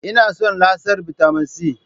Ina son lasar bitamin C